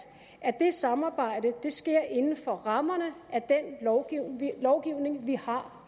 at det samarbejde sker inden for rammerne af den lovgivning vi har